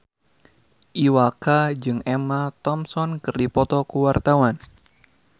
Iwa K jeung Emma Thompson keur dipoto ku wartawan